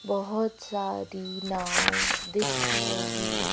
बहुत सारी नाव दिख रही--